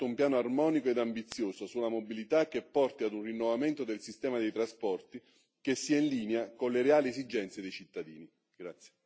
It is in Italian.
È giunto il momento di mettere in atto un piano armonico ed ambizioso sulla mobilità, che porti ad un rinnovamento del sistema dei trasporti che sia in linea con le reali esigenze dei cittadini.